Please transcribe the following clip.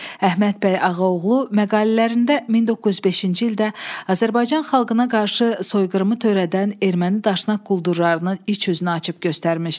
Əhməd bəy Ağaoğlu məqalələrində 1905-ci ildə Azərbaycan xalqına qarşı soyqırımı törədən erməni daşnaq quldurlarının iç üzünü açıb göstərmişdi.